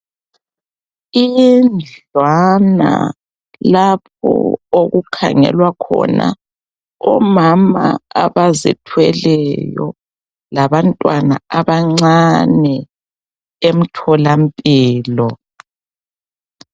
Indlwana lapho okukhangelwa khona omama abazithweleyo labantwana abancane emtholampilo.